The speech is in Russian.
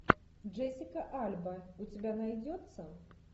джессика альба у тебя найдется